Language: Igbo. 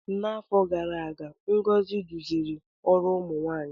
N'afọ gara aga Ngozi duziri ọrụ ụmụ nwanyị.